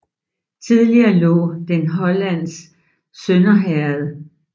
Tidligere lå den i Lollands Sønder Herred